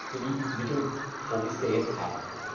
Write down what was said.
genügend Mittel vorgesehen haben.